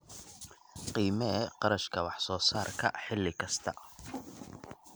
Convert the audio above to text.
Qiimee kharashka wax soo saarka xilli kasta.